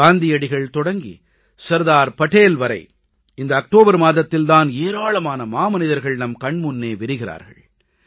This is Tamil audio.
காந்தியடிகள் தொடங்கி சர்தார் படேல் வரை இந்த அக்டோபர் மாதத்தில் தான் ஏராளமான மாமனிதர்கள் நம் கண் முன்னே விரிகிறார்கள்